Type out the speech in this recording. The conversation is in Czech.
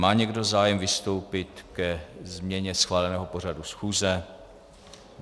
Má někdo zájem vystoupit ke změně schváleného pořadu schůze?